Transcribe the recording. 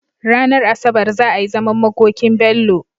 Ranar asabar za a yi zaman makokin Bello